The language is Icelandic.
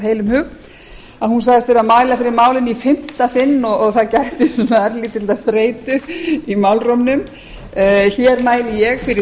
heilum hug hún sagðist vera að mæla fyrir málinu í fimmta sinn og það gætti örlítillar þreytu í málrómnum hér mæli ég fyrir